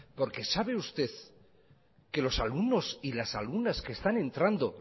porque sabe usted que los alumnos y las alumnas que están entrando